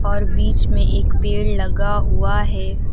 और बीच में एक पेड़ लगा हुआ है।